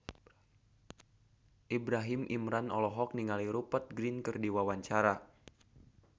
Ibrahim Imran olohok ningali Rupert Grin keur diwawancara